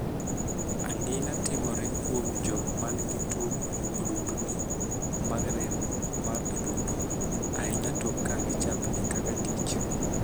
Angina' timore kuom jok man gi tuo odundni mag remo mar adundo, ahinya to ka gichapni kaka tich.